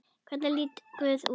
Hvernig lítur guð út?